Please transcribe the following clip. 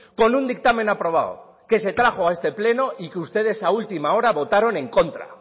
con un dictamen aprobado que se trajo a este pleno y que ustedes a última hora votaron en contra